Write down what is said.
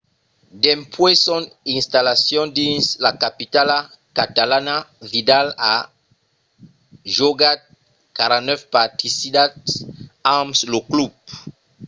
dempuèi son installacion dins la capitala catalana vidal a jogat 49 partidas amb lo club